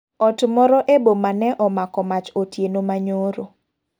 Ot moro e boma ne omako mach otieno manyoro.